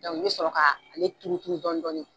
i bi sɔrɔ ka ale turu tuu dɔɔni dɔɔni .